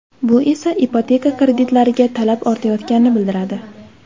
Bu esa ipoteka kreditlariga talab ortayotganini bildiradi.